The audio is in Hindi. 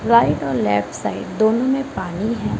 राइट और लेफ्ट साइड दोनों में पानी है।